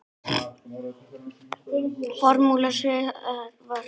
Formúla sem virkar.